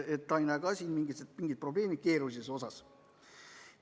Ta ei näe ka siin mingit probleemi, keerulisuse mõttes.